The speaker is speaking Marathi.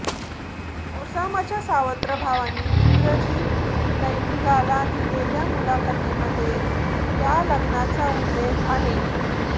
ओसामाच्या सावत्र भावांनी इंग्रजी दैनिकाला दिलेल्या मुलाखतीमध्ये या लग्नाचा उल्लेख आहे